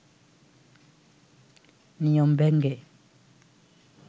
নিয়ম ভেঙ্গে